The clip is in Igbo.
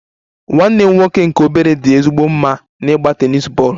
Nwanne m nwoke nke obere dị ezigbo mma n'ịgba tennis tebụl